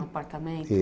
Um apartamento.